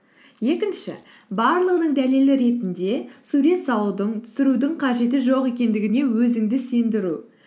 екінші барлығының дәлелі ретінде сурет салудың түсірудің қажеті жоқ екендігіне өзіңді сендіру